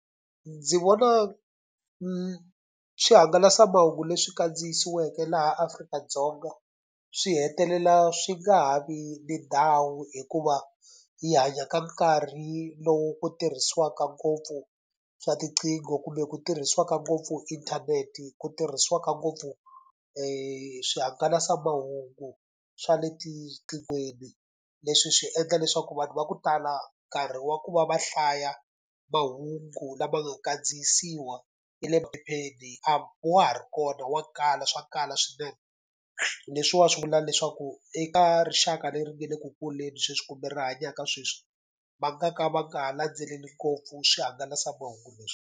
Ndzi vona swihangalasamahungu leswi kandziyisiweke laha Afrika-Dzonga, swi hetelela swi nga ha vi ni ndhawu hikuva hi hanya ka nkarhi lowu tirhisiwaka ngopfu swa tiqingho, kumbe ku tirhisiwaka ngopfu inthanete, ku tirhisiwaka ngopfu swihangalasamahungu swa le etiqingweni. Leswi swi endla leswaku vanhu va ku tala nkarhi wa ku va va hlaya mahungu lama nga kandziyisiwa hi le a wa ha ri kona, wa kala, swa kala swinene. Leswiwani swi vula leswaku eka rixaka leri nga le ku kuleni sweswi kumbe ri hanyaka sweswi, va nga ka va nga ha landzeleli ngopfu swihangalasamahungu leswi.